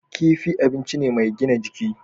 Kifi abinci ne mai gina jiki.